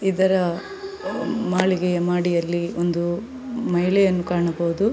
ಇದರ ಮಾಳಿಗೆಯ ಮಾಡಿಗೆಯಲ್ಲಿ ಒಂದು ಮಹಿಳೆಯನ್ನು ಕಾಣಬಹುದು .